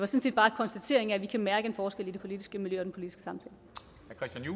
set bare en konstatering af at vi kan mærke en forskel i det politiske miljø